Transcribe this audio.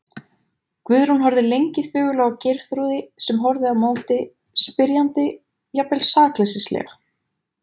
Guðrún horfði lengi þögul á Geirþrúði sem horfði á móti, spyrjandi, jafnvel sakleysislega.